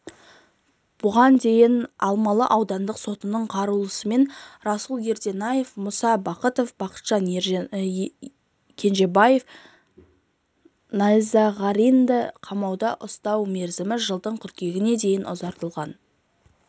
бұған дейін алмалы аудандық сотының қаулысымен руслан ерденаев мұса бахытов бақытжан кенжебаев найзағаринді қамауда ұстау мерзімі жылдың қыркүйегіне дейін ұзартылған